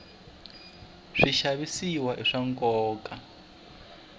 swixavisiwa i swa nkoka